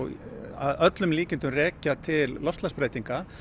að öllum líkindum rekja til loftslagsbreytinga